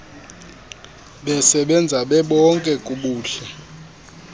besebenza bebonke kubuhle